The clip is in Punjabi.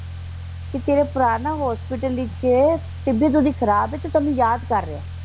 ਕਿ ਤੇਰਾ ਭਰਾ ਨਾ ਹੌਸਪੀਟਲ ਵਿੱਚ ਏ ਤਬੀਅਤ ਓਹਦੀ ਖਰਾਬ ਏ ਤੇ ਤੈਨੂੰ ਯਾਦ ਕਰ ਰਿਹਾ।